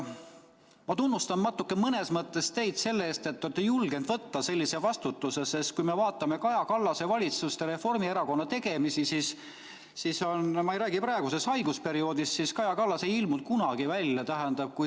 Ma mõnes mõttes natuke tunnustan teid selle eest, et olete julgenud võtta sellise vastutuse, sest kui me vaatame Kaja Kallase valitsust ja Reformierakonna tegemisi – ma ei räägi praegusest haigusperioodist –, siis Kaja Kallas ei ilmunud kunagi välja.